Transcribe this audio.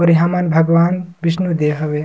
और इहाँ मन भगवान विष्णु देव हवे।